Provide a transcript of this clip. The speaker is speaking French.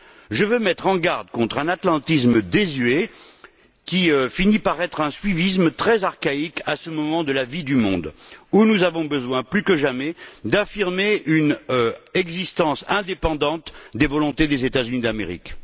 Je veux mettre en garde contre un atlantisme désuet, qui finit par être un suivisme très archaïque, à ce moment de la vie du monde où nous avons besoin plus que jamais d'affirmer une existence indépendante des volontés des États Unis d'Amérique.